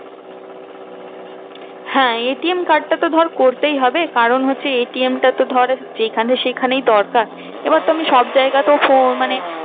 হ্যাঁ ATM card টা তো ধর করতেই হবে কারণ হচ্ছে ATM টা তো ধর যেখানে সেখানে দরকার এবার তো আমি সব জায়গাতে মানে